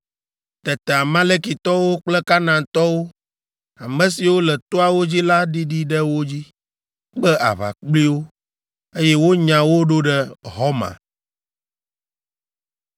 Tete Amalekitɔwo kple Kanaantɔwo, ame siwo le toawo dzi la ɖiɖi ɖe wo dzi, kpe aʋa kpli wo, eye wonya wo ɖo ɖe Horma.